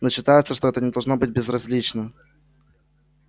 но считается что это не должно быть безразлично